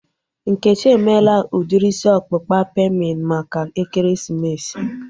Nkechi emela udiri isi ọkpụkpa pemin maka ekeresimesi